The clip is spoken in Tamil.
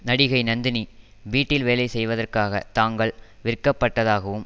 நடிகை நந்தினி வீட்டில் வேலை செய்வதற்காக தாங்கள் விற்கப்பட்டதாகவும்